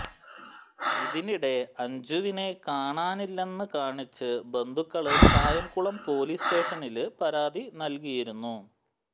ഇതിനിടെ അഞ്ജുവിനെ കാണാനില്ലെന്ന് കാണിച്ച് ബന്ധുക്കള് കായംകുളം പോലീസ് സ്റ്റേഷനില് പരാതി നല്കിയിരുന്നു